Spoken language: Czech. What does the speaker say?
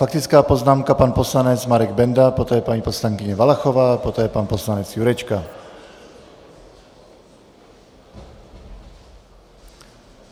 Faktická poznámka - pan poslanec Marek Benda, poté paní poslankyně Valachová, poté pan poslanec Jurečka.